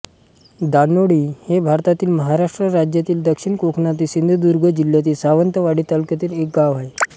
दानोळी हे भारतातील महाराष्ट्र राज्यातील दक्षिण कोकणातील सिंधुदुर्ग जिल्ह्यातील सावंतवाडी तालुक्यातील एक गाव आहे